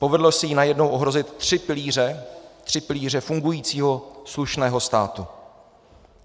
Povedlo se jí najednou ohrozit tři pilíře fungujícího slušného státu.